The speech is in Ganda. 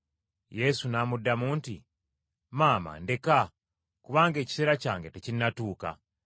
Yesu n’amuddamu nti, “Maama ndeka, kubanga ekiseera kyange tekinnatuuka.”